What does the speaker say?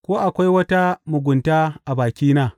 Ko akwai wata mugunta a bakina?